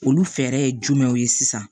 Olu fɛɛrɛ ye jumɛnw ye sisan